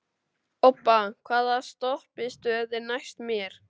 Obba, hvaða stoppistöð er næst mér?